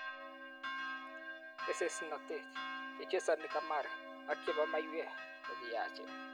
Kesesnatet, chechesani kamari ak chebo maiwek kokiyachen.